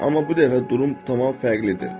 Amma bu dəfə durum tamam fərqlidir.